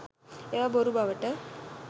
ඒවා බොරු බවට